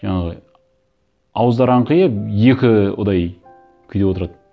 жаңағы ауыздары аңқиып екі күйде отырады